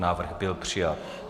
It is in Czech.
Návrh byl přijat.